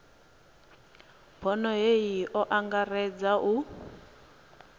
bono hei o angaredza u